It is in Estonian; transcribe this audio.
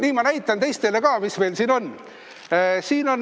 Nii, ma näitan teistele ka, mis meil siin on.